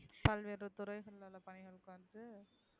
பல்வேறு துறைகள்ல உள்ள